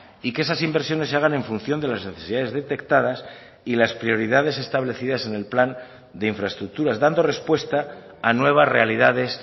y que esas inversiones se hagan en función de las necesidades detectadas y las prioridades establecidas en el plan de infraestructuras dando respuesta a nuevas realidades